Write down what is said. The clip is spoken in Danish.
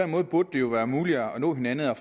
måde burde det jo være muligt at nå hinanden og